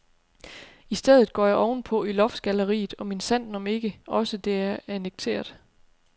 I stedet går jeg ovenpå i loftgalleriet, og minsandten om ikke også det er annekteret.